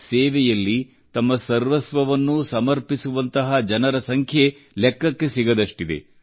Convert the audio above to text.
ಸೇವೆಯಲ್ಲಿ ತಮ್ಮ ಸರ್ವಸ್ವವನ್ನೂ ಸಮರ್ಪಿಸುವಂತಹ ಜನರ ಸಂಖ್ಯೆ ಲೆಕ್ಕಕ್ಕೆ ಸಿಗದಷ್ಟಿದೆ